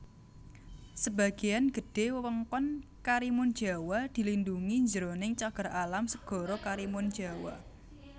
Sebagéan gedhé wewengkon Karimunjawa dilindhungi jroning Cagar Alam Segara Karimunjawa